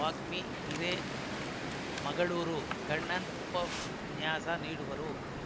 ವಾಗ್ಮಿ ಹಿರೇಮಗಳೂರು ಕಣ್ಣನ್‌ ಉಪನ್ಯಾಸ ನೀಡುವರು